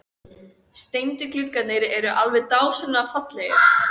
Steindu gluggarnir eru alveg dásamlega fallegir!